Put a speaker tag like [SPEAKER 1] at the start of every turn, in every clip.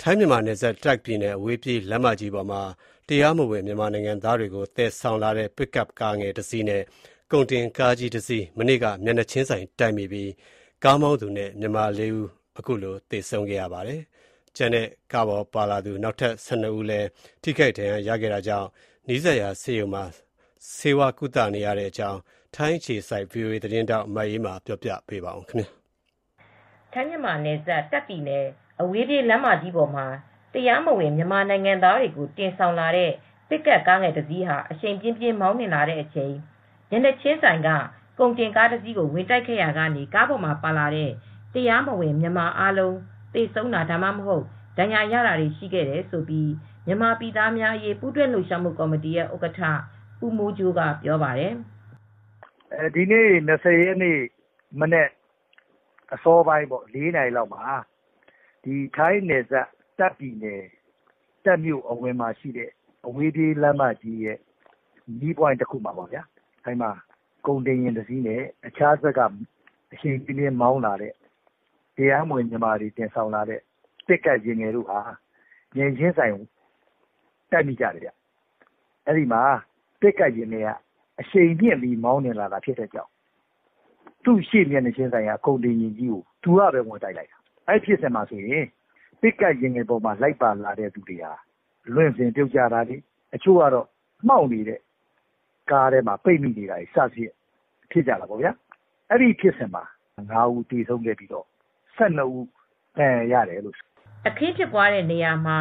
[SPEAKER 1] ထိုင်း မြန်မာနယ်စပ် တာ့ခ်ပြည်နယ် အဝေးပြေး လမ်းမကြီးပေါ်မှာ တရားမဝင် မြန်မာနိုင်ငံသားတွေ တင်ဆောင်လာတဲ့ ပစ်ကပ်ကားငယ် တစ်စီးနဲ့ ကုန်တင်ကား တစီး ဒီကနေ့ မနက်ပိုင်းက မျက်နှာချင်းဆိုင်တိုက်မိပြီး ကားမောင်းသူနဲ့ မြန်မာ ၄ ဦးသေဆုံးခဲ့ပါတယ်။ ကျန်တဲ့ ကားပေါ်ပါလာသူ နောက်ထပ် ၁၂ ဦးလည်း ထိခိုက် ဒဏ်ရာ ရခဲ့တာကြောင့် နီးစပ်ရာဆေးရုံမှာ ဆေးဝါးကုသနေရတဲ့အကြောင်း ထိုင်းအခြေစိုက် ဗွီအိုအေ သတင်းထောက် မအေးအေးမာက သတင်းပေးပို့ ထားပါတယ်
[SPEAKER 2] ။ ထိုင်း မြန်မာနယ်စပ် တာ့ခ်ပြည်နယ် အဝေးပြေးလမ်းမကြီးပေါ်မှာ တရားမဝင် မြန်မာနိုင်ငံသားတွေ တင်ဆောင်လာတဲ့ ပစ်ကပ်ကားငယ် တစီးဟာ အရှိန်ပြင်းပြင်း မောင်းနှင်လာတဲ့အချိန်၊ မျက်နှာချင်းဆိုင်က ကုန်တင်ကားတစီးကို ဝင်တိုက်မိခဲ့ရာက ကားပေါ်ပါလာတဲ့ တရားမဝင် မြန်မာအားလုံး သေဆုံးတာ ဒါမှမဟုတ် ဒဏ်ရာရတာတွေ ရှိခဲ့တယ်လို့ မြန်မာပြည်သားများအရေး ပူးတွဲလှုပ်ရှားမှု ကော်မတီရဲ့ဥက္ကဋ္ဌ ဦးမိုးကြိုးက ပြောပါတယ်
[SPEAKER 3] ။ "ဒီနေ့ ၂၀ ရက်နေ့မနက် အစောပိုင်း ၄ နာရီလောက်မှာ ထိုင်းနယ်စပ်တာ့ခ်ပြည်နယ် တာခ့်မြို့အဝေးပြေးလမ်းမကြီးရဲ့မြို့ အဝင်မီးပွိုင့်မှာ ကုန်တင်ယဉ်တစင်းနဲ့ တခြားတဘက်က အရှိန်ပြင်းပြင်းမောင်းလာတဲ့ တရားမဝင်မြန်မာတွေ သယ်လာတဲ့ ပစ်ကပ်ယာဉ်ငယ် တစင်းကို မျက်နှာချင်းဆိုင်ဝင်တိုက်ခဲ့တယ် ပစ်ကပ်ယာဉ်ငယ်က အရှိန်ပြင်းပြင်းမောင်းလာတဲ့အတွက် သူရှေ့က မျက်နှာချင်းဆိုင်က ကုန်တင်ယာဉ်ကို သူကပဲ ဝင်တိုက်ခဲ့တယ် ။ အဲဒီပစ်ကပ်ကားပေါ်က သူတွေက လွင့်စင်ပြုတ်ကျတာတွေ တချို့ကတော့မှောက်နေတဲ့ကားထဲမှာပိတ်မိတာတွေဖြစ်တယ် အဲဒီဖြစ်စဉ်မှာ ၅ ဦး သေဆုံးပြီး ၁၂ ဦးက ဒဏ်ရာရတယ်
[SPEAKER 2] " အခင်းဖြစ်ပွားတဲ့ နေရာမှာ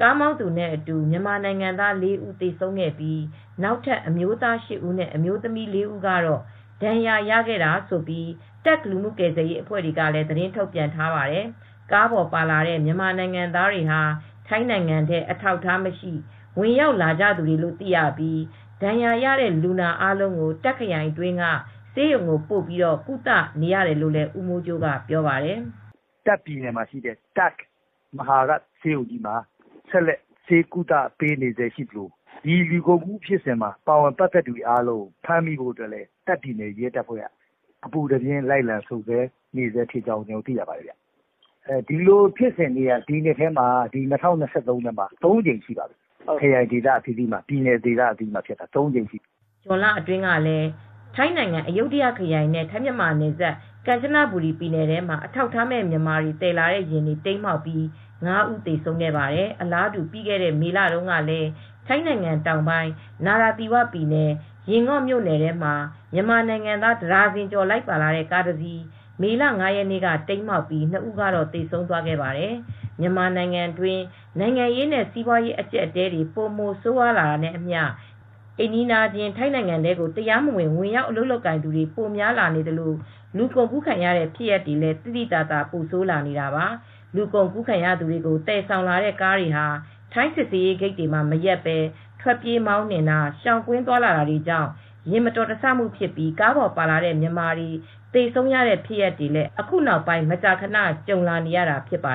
[SPEAKER 2] ကားမောင်းသူနဲ့အတူ မြန်မာနိုင်ငံသား ၄ ဦး သေဆုံးခဲ့ပြီး နောက်ထပ် အမျိုးသား ၈ ဦးနဲ့ အမျိုးသမီး ၄ ဦးကတော့ ဒဏ်ရာ ရခဲ့တာလို့ တာ့ခ် လူမှုကယ်ဆယ်ရေး အဖွဲ့တွေကလည်း သတင်းထုတ်ပြန် ထားပါတယ်။ ကားပေါ် ပါလာတဲ့ မြန်မာနိုင်ငံသားတွေဟာ ထိုင်းနိုင်ငံထဲ အထောက်အထားမရှိ ဝင်ရောက်လာသူတွေလို့ သိရပြီး ဒဏ်ရာရတဲ့ လူနာအားလုံးကို တာခ့် ခရိုင်အတွင်းက ဆေးရုံကိုပို့ပြီး ကုသနေရတယ်လို့လည်း ဦးမိုးကြိုးက ပြောပါတယ်။ "တာခ့်ပြည်နယ်မှာရှိတဲ့ တာ့ခ်မဟာရ
[SPEAKER 3] တ် ဆေးရုံကြီးမှာ ဆက်လက် ဆေးကုသပေးနေဆဲ ဖြစ်ပြီး ဒီလူကုန်ကူးမှာ ပါဝင်ဖြစ်စဉ်မှာ ပတ်သက်နေသူတွေ အားလုံးဖမ်းမိဖို့ တာ့ခ်ပြည်နယ်ရဲတပ်ဖွဲ့က အပူတပြင်း လိုက်လံစုံစမ်းနေတယ်။ ဒီလိုဖြစ်စဉ်မျိုးကတော့ ၂၀၂၃ ခုနှစ်ထဲမှာ ၃ ကြိမ်လောက် ဖြစ်ခဲ့ပါတယ်" ဇွန်
[SPEAKER 2] လအတွင်းကလည်း ထိုင်းနိုင်ငံ၊ အယုဒ္ဓယ ခရိုင် နဲ့ ထိုင်းမြန်မာနယ်စပ် ကမ်ချနဘူရီပြည်နယ်ထဲမှာ အထောက်အထားမဲ့ မြန်မာတွေ သယ်လာတဲ့ယာဉ်တွေ တိမ်းမှောက်ပြီး ၅ ဦး သေဆုံးခဲ့ပါတယ်။ အလားတူ ပြီးခဲ့တဲ့ မေလ တုန်းကတော့ ထိုင်းနိုင်ငံတောင်ပိုင်း နာရာသီဝပြည်နယ် ရင်ငေါ့ မြို့နယ်ထဲမှာ မြန်မာနိုင်ငံသား တဒါဇင်ကျော် လိုက်ပါလာတဲ့ ကားတစီး မေလ ၅ ရက်နေ့က တိမ်းမှောက်ပြီး ၂ ဦးကတော့ သေဆုံးသွားခဲ့ပါတယ်။ မြန်မာနိုင်ငံတွင်း နိုင်ငံရေးနဲ့ စီးပွားရေး အကျပ်အတည်းတွေ ပိုမို ဆိုးရွားလာတာနဲ့အမျှ အိမ်နီးချင်း ထိုင်းနိုင်ငံထဲ တရားမဝင် ဝင်ရောက် အလုပ်လုပ်ကိုင်သူတွေ ပိုများလာနေသလို၊ လူကုန်ကူးခံရတဲ့ ဖြစ်ရပ်တွေလည်း သိသိသာသာ ပိုဆိုးလာနေတာပါ။ လူကုန်ကူးခံရသူတွေကို သယ်ဆောင်လာတဲ့ကားတွေဟာ ထိုင်းစစ်ဆေးရေးဂိတ်တွေမှာ မရပ်ဘဲ ထွက်ပြေးမောင်းနင်တာ၊ ရှောင်ကွင်း သွားလာတာတွေကြောင့် ယာဥ်မတော်တဆမှု ဖြစ်ပြီး ကားပေါ်ပါလာတဲ့ မြန်မာတွေ သေဆုံးရတဲ့ ဖြစ်ရပ်တွေလည်း အခုနောက်ပိုင်း မကြာခဏ ကြုံလာနေရတာ ဖြစ်ပါ